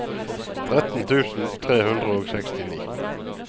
tretten tusen tre hundre og sekstini